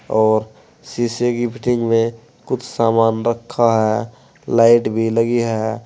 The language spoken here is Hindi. और शीशे की फिटिंग में कुछ सामान रखा है लाइट भी लगी है।